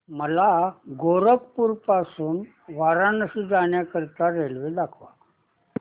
मला गोरखपुर पासून वाराणसी जाण्या करीता रेल्वे दाखवा